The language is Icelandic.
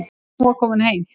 Hún var komin heim.